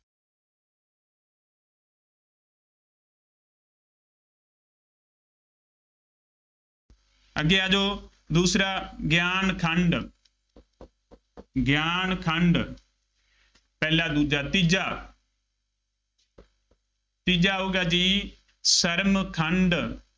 ਅੱਗੇ ਆ ਜਾਉ। ਦੂਸਰਾ ਗਿਆਂਨ ਖੰਡ ਗਿਆਨ ਖੰਡ ਪਹਿਲਾ, ਦੂਜਾ, ਤੀਜਾ ਤੀਜਾ ਆਊਗਾ ਜੀ, ਸਰਮ ਖੰਡ